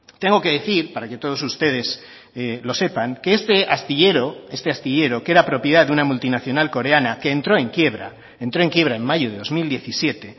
tengo que decir para que todos ustedes lo sepan que este astillero este astillero que era propiedad de una multinacional coreana que entró en quiebra entró en quiebra en mayo de dos mil diecisiete